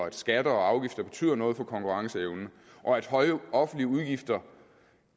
at skatter og afgifter betyder noget for konkurrenceevnen og at høje offentlige udgifter